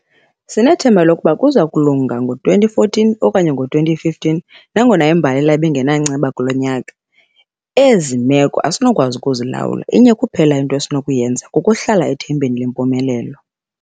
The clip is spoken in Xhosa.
Sinethemba lokuba kuza kulunga nango-2014 okanye ngo-2015 nangona imbalela ibingenanceba kulo nyaka. Ezi meko asinakukwazi ukuzilawula, inye kuphela into esinokuyenza, kukuhlala ethembeni lempumelelo.